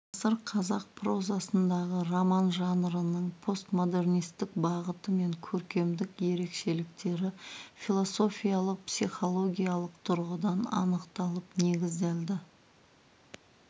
ғасыр қазақ прозасындағы роман жанрының постмодернистік бағыты мен көркемдік ерекшеліктері философиялық психологиялық тұрғыдан анықталып негізделді